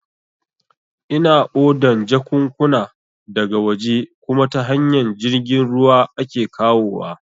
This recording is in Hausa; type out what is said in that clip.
Ina odan jakunkuna da ga waje kuma ta hanyar jirgin ruwa ake kawowa